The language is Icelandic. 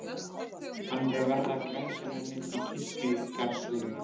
Hann er að verða glæsimennið í kirkjugarðshliðinu.